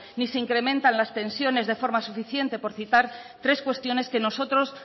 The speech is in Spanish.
ni se incrementan las pensiones de forma suficiente por citar tres cuestiones que nosotros